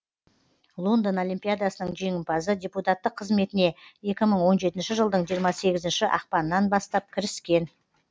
лондон олимпиадасының жеңімпазы депутаттық қызметіне екі мың он жетінші жылдың жиырма сегізінші ақпанынан бастап кіріскен